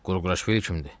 Qurquraşvili kimdir?